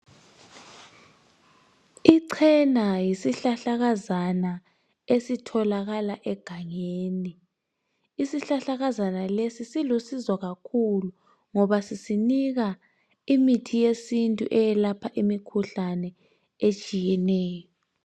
Ichena yisihlahlakazana esitholakala egangeni. Isihlahlakazana lesi silusizo kakhulu ngoba sisinika imithi yesintu eyelapha imikhuhlane etshiyeneyo.